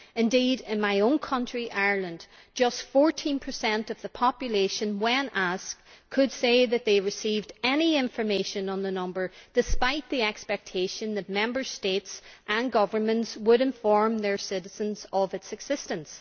Indeed in my own country, Ireland, just 14 of the population when asked could say that they received any information on the number, despite the expectation that Member States and governments would inform their citizens of its existence.